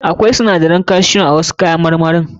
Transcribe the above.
Akwai sinadarin calcium a wasu ƴaƴan marmarin.